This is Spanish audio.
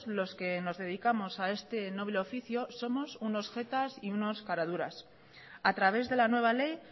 los que nos dedicamos a este noble oficio somos unos jetas y unos caraduras a través de la nueva ley